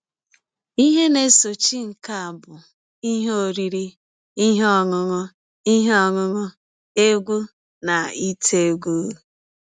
Ihe na - esochi nke a bụ ihe oriri, ihe ọṅụṅụ ihe ọṅụṅụ, egwú, na ite egwú.